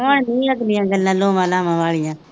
ਹੁਣ ਨਹੀਂ ਲੱਗਦੀਆਂ ਗੱਲਾਂ ਲੋਆਂ ਲਾਵਾਂ ਵਾਲੀਆਂ